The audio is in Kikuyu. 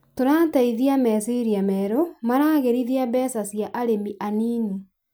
Tũrateithia meciria merũ maragĩrithia mbeca cia arĩmi anini